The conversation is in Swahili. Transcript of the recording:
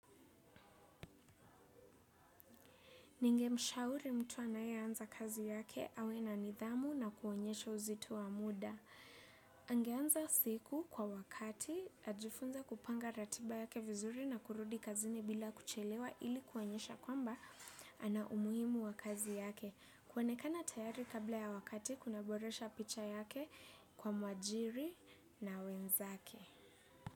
Ningemshauri mtu anaye anza kazi yake awe na nidhamu na kuonyesha uzitu wa muda. Angeanza siku kwa wakati ajifunza kupanga ratiba yake vizuri na kurudi kazini bila kuchelewa ili kuonyesha kwamba ana umuimu wa kazi yake. Kwonekana tayari kabla ya wakati kuna boresha picha yake kwa mwajiri na wenzake.